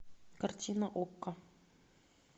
картина окко